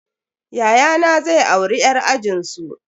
Yayana zai auri yar ajinsu.